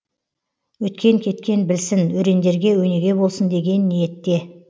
өткен кеткен білсін өрендерге өнеге болсын деген ниетте